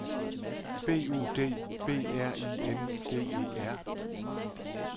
B U D B R I N G E R